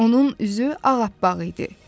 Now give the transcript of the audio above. Onun üzü ağappaq idi.